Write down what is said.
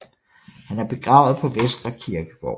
Han er begravet på Vestre Kirkegård